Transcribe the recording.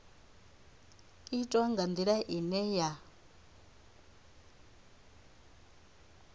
itwa nga ndila ine ya